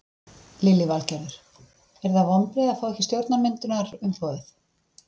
Lillý Valgerður: Eru það vonbrigði að fá ekki stjórnarmyndunarumboðið?